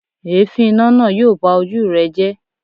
Èéfín iná náà yóò ba ojú rẹ jẹ́.